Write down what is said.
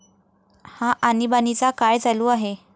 हा आणीबाणीचा काळ चालू आहे.